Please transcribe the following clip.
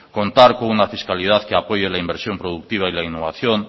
contar con una fiscalidad que apoye la inversión productiva y la innovación